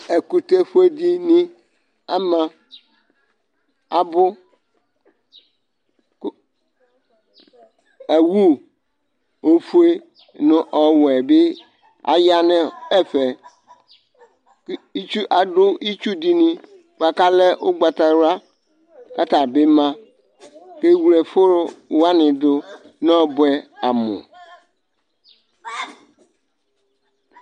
ɛkʋtɛ fuɛ dini ama abʋ kʋ awʋ ofuɛ nʋ ɔwɛ bi ayanʋ ɛfɛ kʋ adʋ itsʋdini kalɛ ugbata wula katabi ma kʋ ɛwʋlɛ ɛfʋ wani dʋ nʋ ɔbuɛ amʋ